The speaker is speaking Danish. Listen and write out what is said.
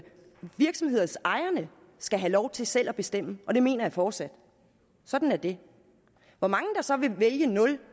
virksomhedsejerne skal have lov til selv at bestemme og det mener jeg fortsat sådan er det hvor mange der så vil vælge nul